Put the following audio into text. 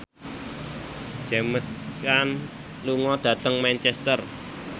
James Caan lunga dhateng Manchester